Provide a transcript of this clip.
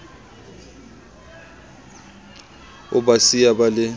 o ba siya ba le